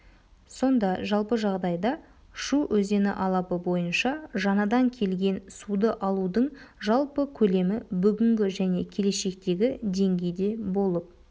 сонда жалпы жағдайда шу өзені алабы бойынша жаңадан келген суды алудың жалпы көлемі бүгінгі және келешектегі деңгейде болып